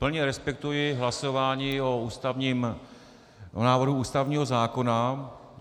Plně respektuji hlasování o návrhu ústavního zákona.